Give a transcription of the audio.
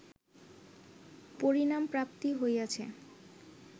পরিণামপ্রাপ্তি হইয়াছে